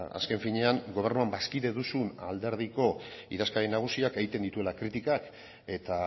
azken finean gobernuan bazkide duzun alderdiko idazkari nagusiak egiten dituela kritikak eta